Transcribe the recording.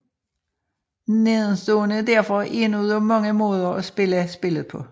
Nedenstående er derfor én ud af mange måde at spille spillet på